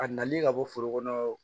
A nali ka bɔ foro kɔnɔ